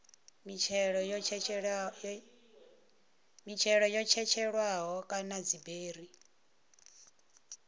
mitshelo yo tshetshelelwaho kana dziberi